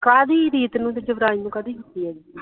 ਕਾਹਦੀ ਰੀਤ ਨੂੰ ਤੇ ਯੁਵਰਾਜ ਨੂੰ ਕਾਹਦੀ ਕੀਤੀ ਆ